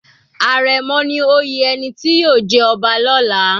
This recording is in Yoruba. Àrẹ̀mọ ni oyè ẹni tí yóò jẹ ọba lọla.